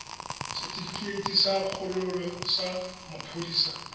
setefikeiti sa kgololo sa maphodisa